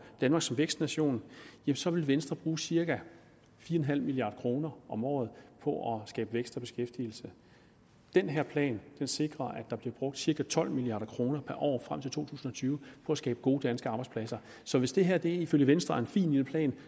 danmark som vækstnation så ville venstre bruge cirka fire milliard kroner om året på at skabe vækst og beskæftigelse den her plan sikrer at der bliver brugt cirka tolv milliard kroner året frem til to tusind og tyve på at skabe gode danske arbejdspladser så hvis det her ifølge venstre er en fin lille plan